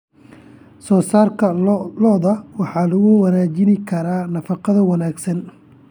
Soosaarka lo'da lo'da waxaa lagu wanaajin karaa nafaqo wanaagsan.